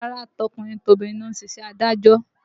Rárá, tọkùnrin tobìnrin ló ń ṣe iṣẹ́ adájọ́